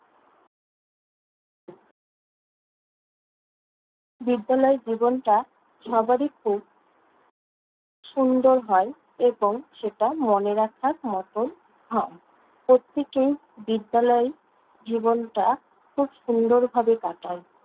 বিদ্যালয় জীবনটা সবারই খুব সুন্দর হয় এবং সেটা মনে রাখার মতন হয়। প্রত্যেকেই বিদ্যালয় জীবনটা খুব সুন্দরভাবে কাটায়।